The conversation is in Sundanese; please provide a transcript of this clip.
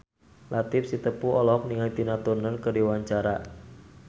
Latief Sitepu olohok ningali Tina Turner keur diwawancara